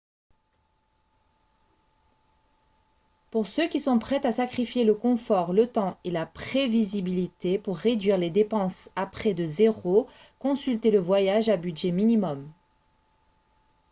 pour ceux qui sont prêts à sacrifier le confort le temps et la prévisibilité pour réduire les dépenses à près de zéro consultez le voyage à budget minimum